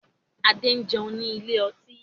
Adé ń jẹun ní ilé ọtí.